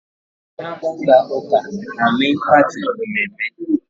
Mgbe ha Je haa uke e mee mmemne